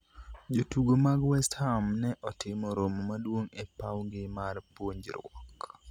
jotugo mag West Ham ne otimo romo maduong' e pawgi mar puonjruok